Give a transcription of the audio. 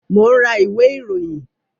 Mo ń ra ìwé ìròyìn